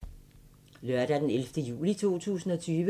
Lørdag d. 11. juli 2020